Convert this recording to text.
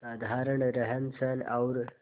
साधारण रहनसहन और